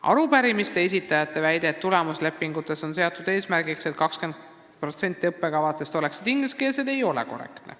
Arupärimise esitajate väide, et tulemuslepingutes on seatud eesmärgiks see, et 20% õppekavadest oleksid ingliskeelsed, ei ole korrektne.